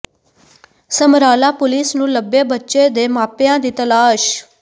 Samrala police ਨੂੰ ਲੱਭੇ ਬੱਚੇ ਦੇ ਮਾਪਿਆਂ ਦੀ ਤਲਾਸ਼